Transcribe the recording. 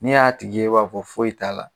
N'e y'a tigi ye e b'a fɔ ko foyi t'a la.